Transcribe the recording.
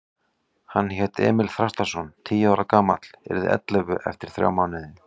Hann hét Emil Þrastarson, tíu ára gamall, yrði ellefu eftir þrjá mánuði.